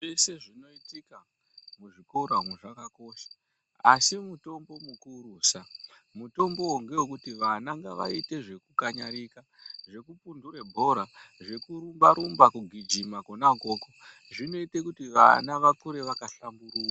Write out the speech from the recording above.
Zvese zvinoitika muzvikora umwo zvakakosha asi mutombo mukurusa mutombowo ngewekuti vana ngavaite zvekukanyarika zvekumbundura bhora zvekurumba rumba kugijimako kona ukoko zvinoita kuti vana vakure vakahlamburuka.